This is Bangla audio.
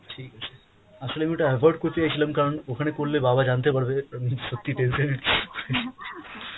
ঠিক আছে, আসলে আমি ওটা ovoid করতে চাইছিলাম কারণ ওখানে করলে বাবা জানতে পারবে সত্যি tension এর ।